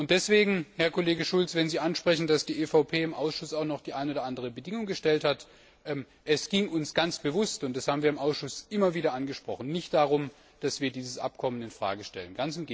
Deswegen, Herr Kollege Schulz, wenn Sie ansprechen, dass die EVP im Ausschuss auch noch die eine oder andere Bedingung gestellt hat Es ging uns ganz bewusst und das haben wir im Ausschuss immer wieder angesprochen nicht darum, dass wir dieses Abkommen in Frage stellen.